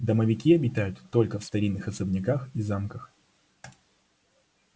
домовики обитают только в старинных особняках и замках